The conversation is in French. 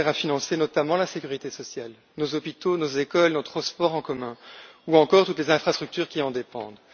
Ils servent à financer notamment la sécurité sociale, nos hôpitaux, nos écoles, nos transports en commun ou encore toutes les infrastructures qui en dépendent.